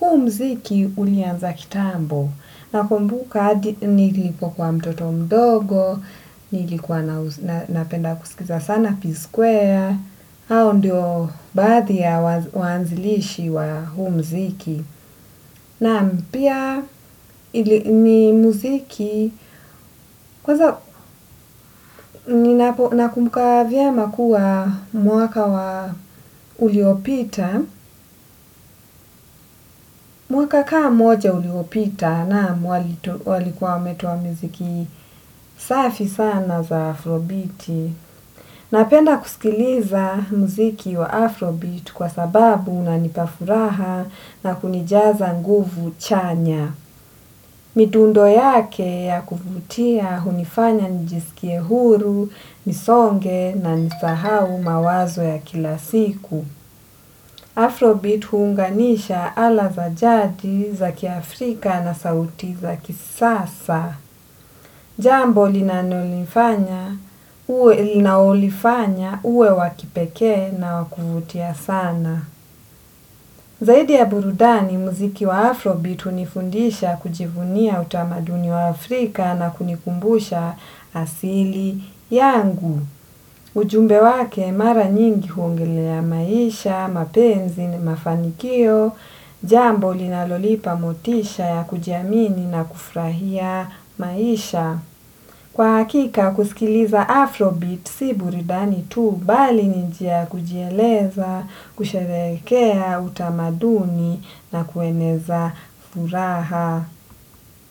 Huo mziki ulianza kitambo. Nakumbuka nilipo kwa mtoto mdogo, nilipo napenda kusikiza sana Peace Square. Hao ndio bathi ya wanzilishi wa huu mziki nam pia ni mziki kwaza nakumuka vyema kuwa mwaka wa uliopita mwaka kama moja uliopita na walikuwa wametowa mziki safi sana za Afrobeat na penda kusikiliza mziki wa Afrobeat. Kwa sababu unanipafuraha na kunijaza nguvu chanya. Mitundo yake ya kuvutia hunifanya njisikie huru, nisonge na nisahau mawazo ya kila siku Afrobeat hunganisha ala za jadi za kia Afrika na sauti za kisasa. Jambo linanolifanya uwe wakipeke na wakuvutia sana. Zaidi ya burudani, muziki wa Afrobeat unifundisha kujivunia utamaduni wa Afrika na kunikumbusha asili yangu. Ujumbe wake mara nyingi hungile ya maisha, mapenzi ni mafanikio, jambo linalonipa motisha ya kujiamini na kufrahia maisha. Kwa hakika kusikiliza Afrobeat si burudani tu bali njia kujieleza, kusherekea, utamaduni na kueneza furaha.